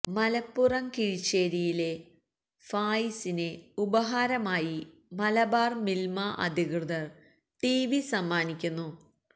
മലപ്പുറം കിഴിശ്ശേരിയിലെ ഫായിസിന് ഉപഹാരമായി മലബാര് മില്മ അധികൃതര് ടിവി സമ്മാനിക്കുന്നു